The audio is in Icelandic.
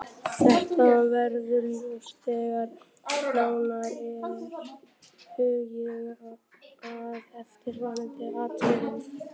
Þetta verður ljóst þegar nánar er hugað að eftirfarandi atriðum